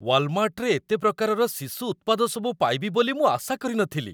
ୱାଲମାର୍ଟରେ ଏତେ ପ୍ରକାରର ଶିଶୁ ଉତ୍ପାଦସବୁ ପାଇବି ବୋଲି ମୁଁ ଆଶା କରିନଥିଲି।